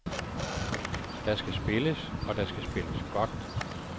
Der skal spilles, og der skal spilles godt.